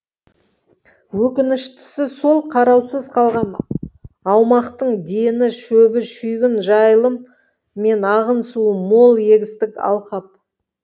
өкініштісі сол қараусыз қалған аумақтың дені шөбі шүйгін жайылым мен ағын суы мол егістік алқап